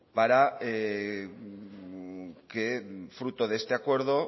para que fruto de este acuerdo